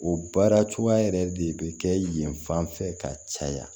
O baara cogoya yɛrɛ de be kɛ yen fan fɛ ka caya